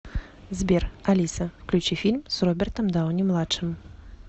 сбер алиса включи фильм с робертом дауни младшим